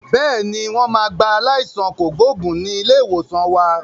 Bẹ́ẹ̀ni, wọn máa gba aláìsàn kògbógùn ni ilé ìwòsàn wa.